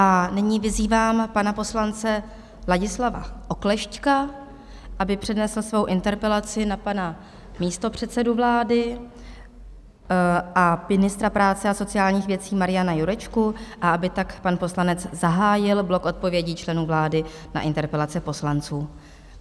A nyní vyzývám pana poslance Ladislava Oklešťka, aby přednesl svou interpelaci na pana místopředsedu vlády a ministra práce a sociálních věcí Mariana Jurečku a aby tak pan poslanec zahájil blok odpovědí členů vlády na interpelace poslanců.